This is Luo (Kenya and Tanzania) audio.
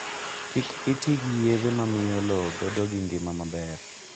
Kik iti gi yedhe mamiyo lowo bedo gi ngima maber